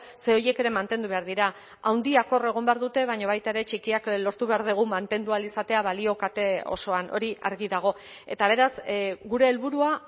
ze horiek ere mantendu behar dira handiak hor egon behar dute baina baita ere txikiak lortu behar dugu mantendu ahal izatea balio kate osoan hori argi dago eta beraz gure helburua